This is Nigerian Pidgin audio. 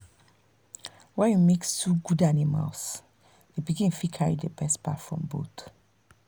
when you mix two good animals the pikin fit carry the best part from both.